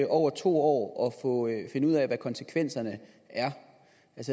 over to år år at finde ud af hvad konsekvenserne